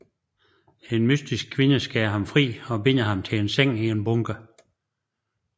En mystisk kvinde skærer ham fri og binder ham til en seng i en bunker